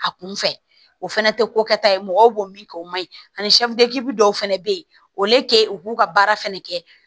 A kun fɛ o fɛnɛ tɛ ko kɛta ye mɔgɔw b'o min kɛ o ma ɲi ani dɔw fana bɛ yen u k'u ka baara fɛnɛ kɛ